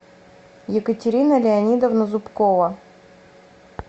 екатерина леонидовна зубкова